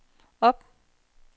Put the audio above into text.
op